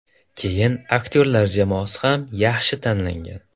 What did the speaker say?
Keyin aktyorlar jamoasi ham yaxshi tanlangan.